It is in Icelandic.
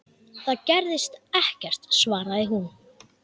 Það gerðist ekkert, svaraði hún.